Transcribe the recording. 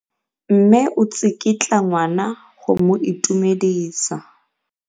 Mme o tsikitla ngwana go mo itumedisa.